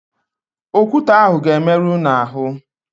Okwute ahụ ga-emerụ unu ahụ.